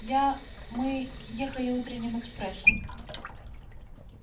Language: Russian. я мы ехали утренним экспрессом